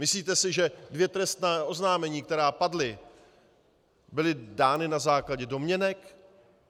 Myslíte si, že dvě trestní oznámení, která padla, byla dána na základě domněnek?